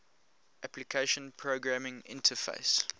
application programming interface